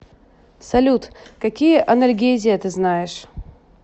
салют какие анальгезия ты знаешь